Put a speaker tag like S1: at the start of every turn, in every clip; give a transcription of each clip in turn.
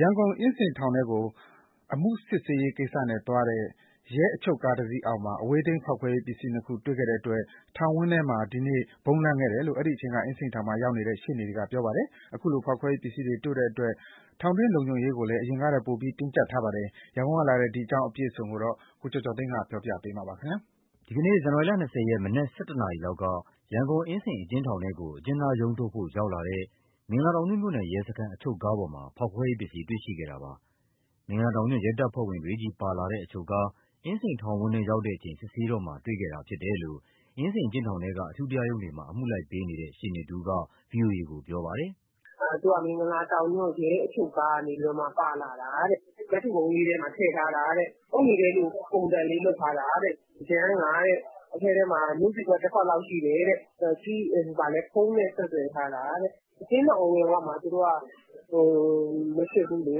S1: ရန်ကုန်၊ အင်းစိန်ထောင်ထဲကို အမှုစစ်ဆေးရေးကိစ္စနဲ့သွားတဲ့ ရဲအချုပ်ကားတစီးအောက်မှာ အဝေးထိန်းဖောက်ခွဲရေးပစ္စည်း နှစ်ခု တွေ့ရှိခဲ့တဲ့အတွက် ထောင်ဝန်းထဲမှာ ဒီနေ့ ဗုံးလန့်ခဲ့တယ်လို့ အဲဒီအချိန်က အင်းစိန်ထောင်မှာရောက်နေတဲ့ ရှေ့နေတွေက ပြောပါတယ်။ ခုလို ဖောက်ခွဲပစ္စည်းတွေ တွေ့တဲ့အတွက် ထောင်တွင်းလုံခြုံရေးကိုလည်း အရင်ကထက် ပိုပြီး တင်းကြပ်ထားပါ တယ်။ ရန်ကုန်ကလာတဲ့ ဒီအကြောင်းအပြည့်အစုံကို ကိုကျော်ကျော်သိန်းက ပြောပြပါမယ်။ ဒီနေ့ ဇန်နဝါရီလ ၂၀ ရက် မနက် ၁၁ နာရီလောက်က ရန်ကုန်၊ အင်းစိန်အကျဉ်း
S2: ထောင်ထဲကို အကျဉ်းသားရုံးထုတ်ဖို့ ရောက်လာ တဲ့ မင်္ဂလာတောင်ညွန့်မြို့နယ်ရဲစခန်း အချုပ်ကားပေါ်မှာ ဖောက်ခွဲရေးပစ္စည်း တွေ့ရှိခဲ့တာပါ။ မင်္ဂလာတောင်ညွှန့် ရဲတပ်ဖွဲ့ဝင် တွေချည်း ပါလာတဲ့ အချုပ်ကား အင်းစိန်ထောင်ဝန်းထဲရောက်တဲ့အချိန် စစ်ဆေးတော့မှာ တွေ့ခဲ့တာ ဖြစ်တယ်လို့ အင်းစိန်အကျဉ်းထောင်ထဲက အထူးတရားရုံးတွေမှာ အမှုလိုက်ပေးနေတဲ့ ရှေ့နေတဦးက ဗွီအိုအေကို ပြောပါတယ်။
S3: “မင်္ဂလာတောင်ညွှန့် ရဲအချုပ်ကားကနေ ပါလာတာတဲ့၊ ကတ်ထူပုံးလေးထဲမှာ ထည့်ထားတာတဲ့။ အုတ်နီခဲလိုပုံစံလေး လုပ်ထား တာတဲ့။ ယမ်းက အထဲထဲမှာ နို့ဆီခွက် တခွက်လောက်ရှိတယ်တဲ့။ ဖုန်းနဲ့ ဆက်သွယ်ထားတာတဲ့။ အကျဉ်းထောင်အဝင်ဝမှာ သူတို့ကမစစ်ဘူးလေ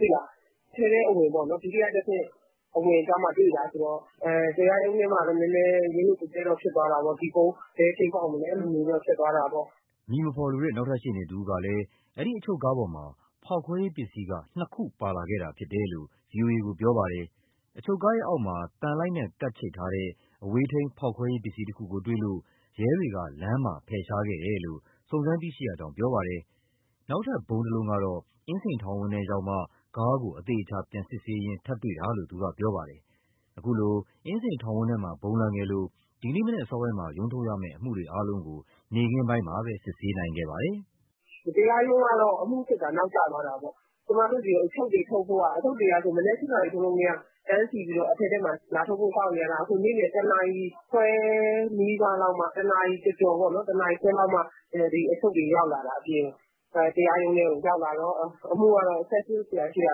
S3: ၊ အထဲထဲအဝင် ဒုတိယတဆင့် အဝင်ကျမှတွေ့တာဆိုတော့ တရားရုံးထဲမှာတော့ ရုတ်ရုတ်သဲသဲ တော့ ဖြစ်သွားတာပေါ့၊ ဒီဗုံး ဘယ်အချိန်ပေါက်မလဲဆိုပြီး။”
S2: အမည်မဖော်လိုတဲ့ နောက်ထပ်ရှေ့နေတဦးကလည်း အဲဒီအချုပ်ကားပေါ်မှာ ဖောက်ခွဲရေးပစ္စည်းနှစ်ခု ပါလာခဲ့တာဖြစ်တယ်လို့ ဗွီအိုအေကို ပြောပါတယ်။ အချုပ်ကားရဲ့အောက်မှာ သံလိုက်နဲ့ကပ်ချိတ်ထားတဲ့ အဝေးထိန်း ဖောက်ခွဲရေးပစ္စည်းတခုကိုတွေ့လို့ ရဲတွေက လမ်းမှာ ဖယ်ရှား ခဲ့တယ်လို့ စုံစမ်းသိရကြောင်းပြောပါတယ်။ နောက်ထပ်ဗုံးတလုံးကတော့ အင်းစိန်ထောင်ဝန်းထဲရောက်မှ ကားကို အသေအချာ ပြန်စစ်ဆေးရင်း ထပ်တွေ့တာလို့ သူကပြောပါတယ်။ အခုလို အင်းစိန်ထောင်ဝန်းထဲမှာ ဗုံးလန့်ခဲ့လို့ ဒီနေ့မနက်အစောပိုင်းမှာ ရုံးထုတ်ရမယ့် အမှုတွေအားလုံးကို နေ့ခင်းပိုင်းမှပဲ စစ်ဆေးနိုင်ခဲ့ပါတယ်
S3: ။ “တရားရုံးကတော့ အမှုစစ်တာ နောက်ကျသွားတာပေါ့။ ကျမတို့တွေ အချုပ်တွေထုတ်ဖို့ မနက် ၈ နာရီထိုးကတည်းက တန်းစီပြီး အထဲထဲမှာ လာထုတ်ဖို့ စောင့်နေရတာ။ နေ့လည် ၁ နာရီခွဲနီးပါးလောက်မှ ဒီအထုတ်တွေ ရောက်လာတာအပြင်ကို တရားရုံး ထဲကို ရောက်လာတော့ အမှုကတော့ ဆက်စစ်စရာရှိတာ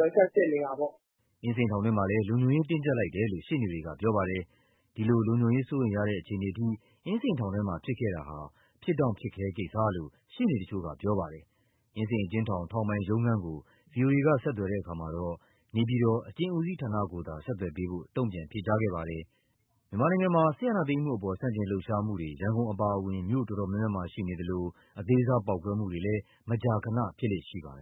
S3: ဆက်စစ်နေတာပေါ့
S2: ။” အင်းစိန်ထောင်တွင်းမှာလည်း လုံခြုံရေးတင်းကြပ်လိုက်တယ်လို့ ရှေ့နေတွေက ပြောပါတယ်။ ဒီလို လုံခြုံရေးစိုးရိမ်ရတဲ့ အခြေအနေအထိ အင်းစိန်ထောင်ထဲမှာ ဖြစ်ပွားခဲ့တာဟာ ဖြစ်တောင့်ဖြစ်ခဲကိစ္စလို့ ရှေ့နေတချို့က ပြောပါတယ်။ အင်းစိန်အကျဉ်းထောင်၊ ထောင်ပိုင်ရုံးခန်းကို ဗွီအိုအေက ဆက်သွယ်တဲ့အခါမှာတော့ နေပြည်တော် အကျဉ်းဦးစီးဌာနကိုသာ ဆက်သွယ်ပေးဖို့ တုံ့ပြန်ဖြေကြားခဲ့ပါတယ်။ မြန်မာနိုင်ငံမှာ စစ်အာဏာသိမ်းမှုအပေါ် ဆန့်ကျင်လုပ်ရှားမှုတွေ ရန်ကုန်အပါအဝင် မြို့တော်တော်များများမှာ ရှိနေသလို အသေးစားပေါက်ကွဲမှုတွေလည်း မကြာခဏ ဖြစ်လေ့ရှိပါတယ်